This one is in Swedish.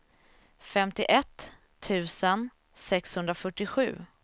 femtioett tusen sexhundrafyrtiosju